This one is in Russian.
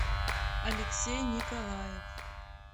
алексей николаев